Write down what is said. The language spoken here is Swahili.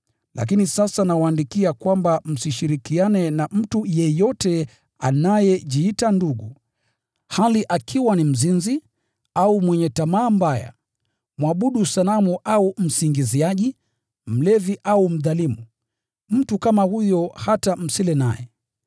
Lakini sasa nawaandikia kwamba msishirikiane na mtu yeyote anayejiita ndugu, hali akiwa ni mzinzi, au mwenye tamaa mbaya, mwabudu sanamu au msingiziaji, mlevi au mdhalimu. Mtu kama huyo hata msile naye.